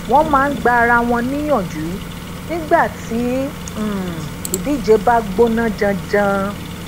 wón maa n gba ara won niyanju nígbà tí um idije ba gbona janjan